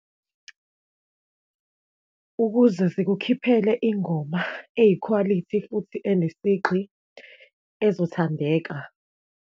Ukuze sikukhiphele ingoma eyikhwalithi futhi enesigqi ezothandeka.